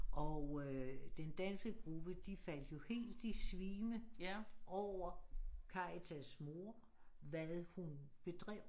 Og øh den danske gruppe de faldt jo helt i svime over Karitas' mor hvad hun bedrev